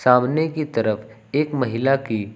सामने की तरफ एक महिला की--